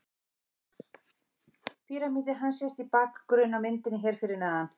Píramídi hans sést í bakgrunni á myndinni hér fyrir neðan.